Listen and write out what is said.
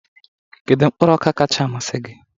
Kedu mkpụrụ ọka kacha amasị gị?